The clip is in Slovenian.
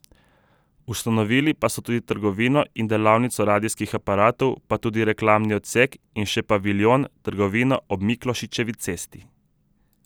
Ustanovili so tudi trgovino in delavnico radijskih aparatov, pa tudi reklamni odsek in še paviljon, trgovino ob Miklošičevi cesti.